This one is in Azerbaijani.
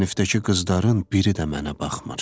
Sinifdəki qızların biri də mənə baxmır.